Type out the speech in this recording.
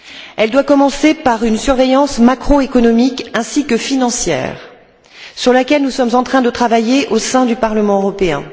Elle doit commencer par une surveillance macroéconomique ainsi que financière, sur laquelle nous sommes en train de travailler au sein du Parlement européen.